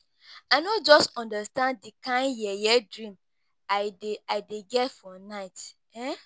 I no just understand the kin yeye dream I dey I dey get for night.